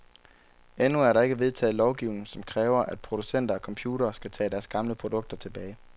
Endnu er der ikke vedtaget lovgivning, som kræver, at producenter af computere skal tage deres gamle produkter tilbage.